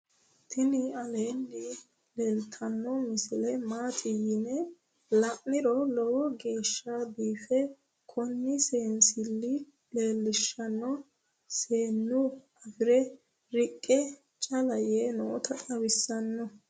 tini aleenni leeltannno misile maati yine la'niro lowo geeshsa biife kuni seensille leelishshano seennu afire riqqe cala yee noota xawissanno